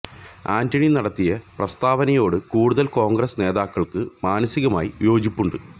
ആന്റണി നടത്തിയ പ്രസ്താവനയോട് കൂടുതല് കോണ്ഗ്രസ് നേതാക്കള്ക്ക് മാനസികമായി യോജിപ്പുണ്ട്